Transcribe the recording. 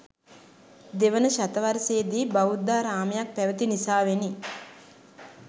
දෙවන ශතවර්ශයේදි බෞද්ධාරාමයක් පැවති නිසාවෙනි.